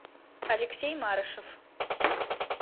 алексей марышев